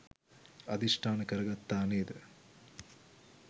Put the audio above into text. අධිෂ්ඨාන කරගත්තා නේද?